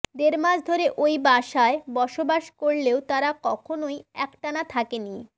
দেড়মাস ধরে ঐ বাসায় বসবাস করলেও তারা কখনোই একটানা থাকেনি